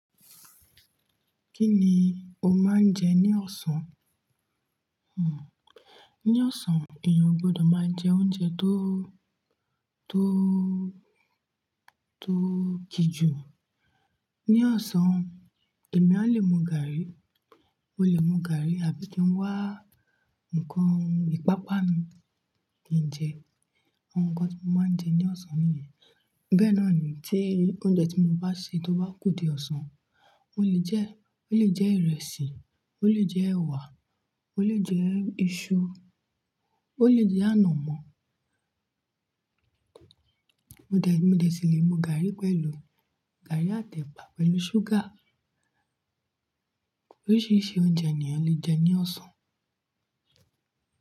Kí ni o máa ń jẹ ní ọ̀sán? Ní ọ̀sán èèyàn o gbọdọ̀ máa jẹ oúnjẹ tó, tó, tó kíjù. Ní ọ̀sán èmi a lè mu gàárì, mo lè mu gàárì àbí kí n wá ǹnkan ìpápa nu kí n jẹ, àwọn nǹkan tí mo máa ń jẹ ní ọ̀sán nìyẹn. Bee ná ni tí oúnjẹ tí mo bá sè tó bá kù di ọ̀sán, ó lè jẹ́, ó lè jẹ ìrẹsì, ó lè jẹ ẹ̀wà, ó lè jẹ iṣu, ó lè jẹ ànàmọ́. Mo dè, mo dè sì lè mu gàárì pẹ̀lú gàárì àti ẹ̀pà pẹ̀lú ṣúgà. Oríṣiríṣi oúnjẹ ni eeyan lè jẹ ní ọ̀sán.